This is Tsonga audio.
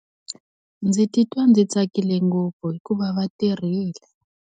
Ndzi titwa ndzi tsakile ngopfu hikuva va tirhile.